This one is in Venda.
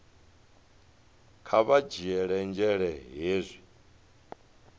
kha vha dzhiele nzhele hezwi